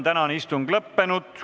Tänane istung on lõppenud.